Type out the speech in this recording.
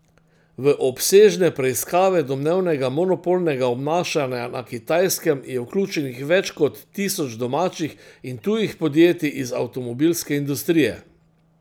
V obsežne preiskave domnevnega monopolnega obnašanja na Kitajskem je vključenih več kot tisoč domačih in tujih podjetij iz avtomobilske industrije.